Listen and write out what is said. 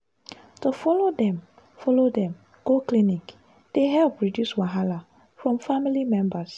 to follow dem follow dem go clinic dey help reduce wahala from family members.